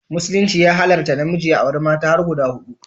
Musulunci ya halatta namiji ya auri mata har guda hudu